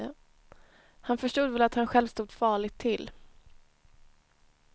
Han förstod väl att han själv stod farligt till.